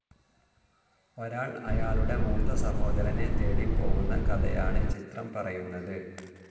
ഒരാൾ അയാളുടെ മൂത്ത സഹോദരനെ തേടി പോവുന്ന കഥയാണ് ചിത്രം പറയുന്നത്.